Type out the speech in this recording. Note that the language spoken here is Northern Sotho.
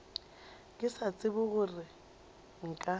ke sa tsebe gore nka